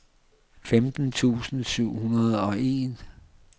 femten tusind syv hundrede og en